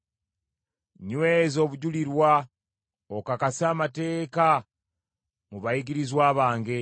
Nyweza obujulirwa okakase amateeka mu bayigirizwa bange.